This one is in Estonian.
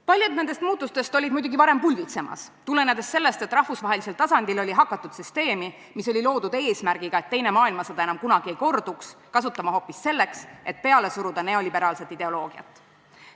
Paljud nendest muutustest olid muidugi juba varem pulbitsemas, tulenedes sellest, et rahvusvahelisel tasandil oli hakatud süsteemi, mis sai loodud eesmärgil, et teine maailmasõda enam kunagi ei korduks, kasutama hoopis selleks, et peale suruda neoliberaalset ideoloogiat.